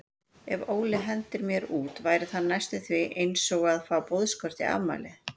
Ef Óli hendir mér út væri það næstum því einsog að fá boðskort í afmælið.